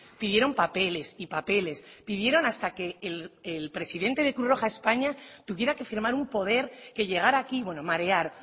pidieron papeles y papeles pidieron hasta que el presidente del cruz roja españa tuviera que firmar un poder que llegara aquí bueno marear